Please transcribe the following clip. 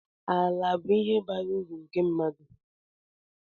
Ala bụ ihe bara uru nke mmadụ